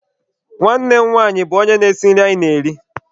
Nwanne m nwanyị bụ onye na-esi nri anyị na-eri.